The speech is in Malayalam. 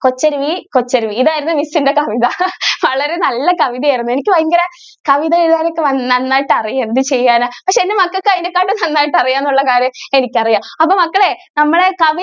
കൊച്ചരുവി കൊച്ചരുവി ഇതായിരുന്നു miss ന്റെ കവിത വളരെ നല്ല കവിത ആയിരുന്നു എനിക്ക് വയങ്കര കവിത എഴുതാൻ ഒക്കെ നന്നായിട്ട് അറിയാം എന്ത് ചെയ്യാൻ ആ പക്ഷെ എൻ്റെ മക്കൾക്ക് അതിനെകാളും നന്നായിട്ട് അറിയാം എന്നുള്ള കാര്യം എനിക്ക് അറിയാം അപ്പൊ മക്കളെ നമ്മളെ കവിത